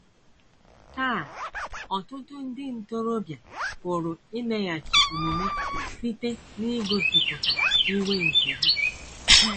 Taa, ọtụtụ ndị ntorobịa pụrụ imeghachi omume site n’igosipụta iwe nke ha.